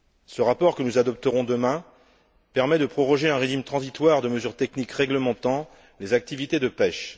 Ce rapport, que nous adopterons demain, permet de proroger un régime transitoire de mesures techniques réglementant les activités de pêche.